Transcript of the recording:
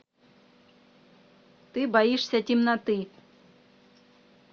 ты боишься темноты